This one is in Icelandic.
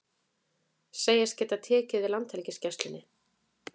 Segjast geta tekið við Landhelgisgæslunni